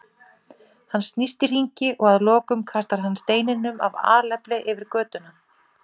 Hann snýst í hringi og að lokum kastar hann steininum af alefli yfir götuna.